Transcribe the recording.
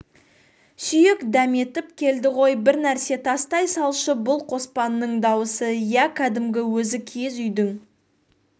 сүйек дәметіп келді ғой бір нәрсе тастай салшы бұл қоспанның дауысы иә кәдімгі өзі киіз үйдің